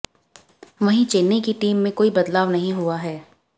वहीं चेन्नई की टीम में कोई बदलाव नहीं हुआ है